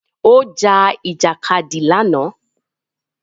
Ó ja Ìjàkadì lánàá